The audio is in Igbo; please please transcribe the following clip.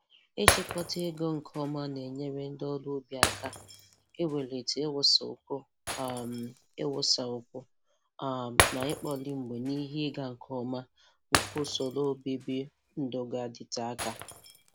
Ịchịkọta ego nke ọma na-enyere ndị ọrụ ubi aka iwulite iwusakwu um na iwusakwu um na ikpori mgbe n'ihe ịga nke ọma nke usoro obibi ndụga-adịte aka.